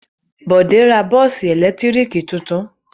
Bọ̀dé ra bọ́ọ́sì ẹ̀lẹ́tíríkì tuntun?